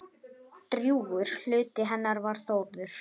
Drjúgur hluti hennar var Þórður.